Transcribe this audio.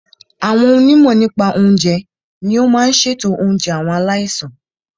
Àwọn onímọ̀ nípa oúnjẹ ní o máà n ṣètò oúnjẹ àwọn aláìsàn.